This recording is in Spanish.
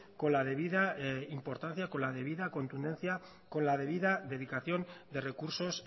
con la debida importancia con la debida contundencia con la debida dedicación de recursos